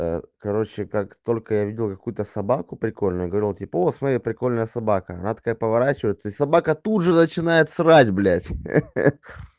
короче как только я видел какую-то собаку прикольную говорил типа вот смотри прикольная собака она такая поворачивается и собака тут же начинает срать блять ха-ха